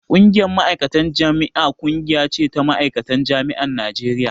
Ƙungiyar Ma'aikatan Jami'a ƙungiya ce ta ma'aikatan jami'an Najeriya